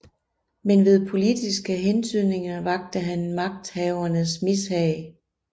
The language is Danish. Men ved politiske hentydninger vakte han magthavernes mishag